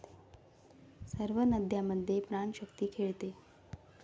सर्व नद्यांमधे प्राणशक्ती खेळते.